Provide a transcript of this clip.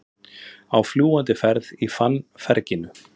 Á fljúgandi ferð í fannferginu